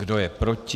Kdo je proti?